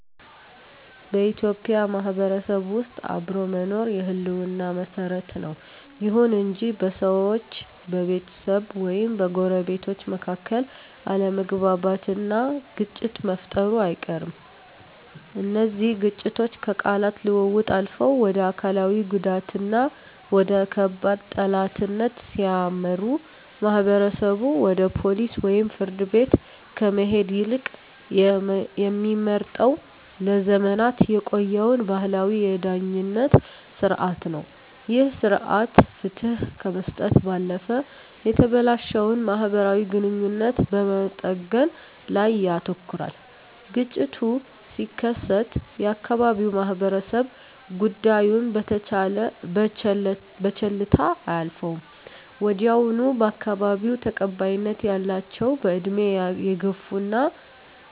በኢትዮጵያ ማህበረሰብ ውስጥ አብሮ መኖር የህልውና መሰረት ነው። ይሁን እንጂ በሰዎች፣ በቤተሰብ ወይም በጎረቤቶች መካከል አለመግባባትና ግጭት መፈጠሩ አይቀርም። እነዚህ ግጭቶች ከቃላት ልውውጥ አልፈው ወደ አካላዊ ጉዳትና ወደ ከባድ ጠላትነት ሲያመሩ፣ ማህበረሰቡ ወደ ፖሊስ ወይም ፍርድ ቤት ከመሄድ ይልቅ የሚመርጠው ለዘመናት የቆየውን ባህላዊ የዳኝነት ሥርዓት ነው። ይህ ሥርዓት ፍትህ ከመስጠት ባለፈ የተበላሸውን ማህበራዊ ግንኙነት በመጠገን ላይ ያተኩራል። ግጭቱ ሲከሰት የአካባቢው ማህበረሰብ ጉዳዩን በቸልታ አያልፈውም። ወዲያውኑ በአካባቢው ተቀባይነት ያላቸው፣ በዕድሜ የገፉና